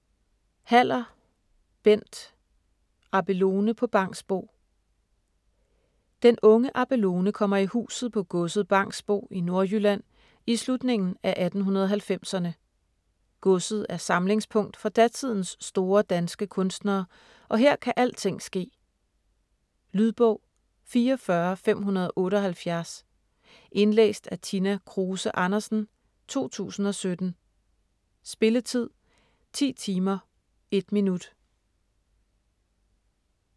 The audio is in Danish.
Haller, Bent: Abelone på Bangsbo Den unge Abelone kommer i huset på godset Bangsbo i Nordjylland i slutningen af 1890'erne. Godset er samlingspunkt for datidens store danske kunstnere og her kan alting ske. Lydbog 44578 Indlæst af Tina Kruse Andersen, 2017. Spilletid: 10 timer, 1 minut.